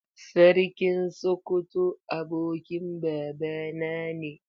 Sarkin Sokoto abokin babana ne.